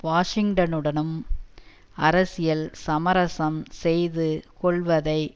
வாஷிங்டனுடனும் அரசியல் சமரசம் செய்து கொள்வதை